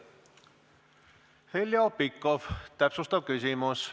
Heljo Pikhof, täpsustav küsimus.